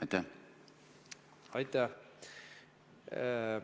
Aitäh!